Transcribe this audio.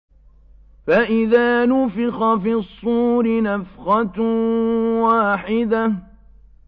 فَإِذَا نُفِخَ فِي الصُّورِ نَفْخَةٌ وَاحِدَةٌ